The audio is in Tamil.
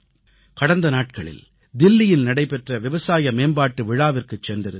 கடந்த நாட்களில் தில்லியில் நடைபெற்ற விவசாய மேம்பாட்டு விழாவிற்குச் சென்றிருந்தேன்